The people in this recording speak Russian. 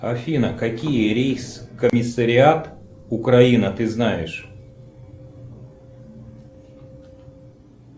афина какие рейс комиссариат украина ты знаешь